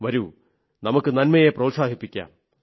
വരൂ നമുക്ക് നന്മയെ പ്രോത്സാഹിപ്പിക്കാം